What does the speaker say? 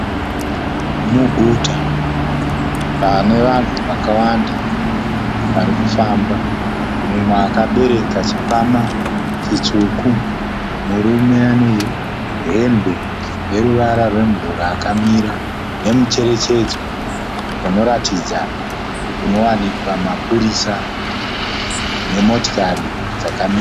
Muguta pane vanhu vakawanda varikufamba. Mumwe akabereka chikwama chitsvuku, murume ane hembe yeruvara rwemvura akamira nemucherechedzo unoratidza kunowanikwa mapurisa nemotokari dzakamira.